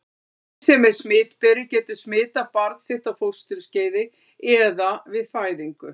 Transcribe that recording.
Móðir sem er smitberi getur smitað barn sitt á fósturskeiði eða við fæðingu.